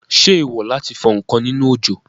Ṣé èèwò láti fọ ǹkan nínú òjò?